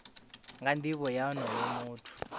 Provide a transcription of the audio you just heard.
nga nivho ya onoyo muthu